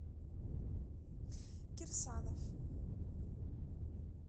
кирсанов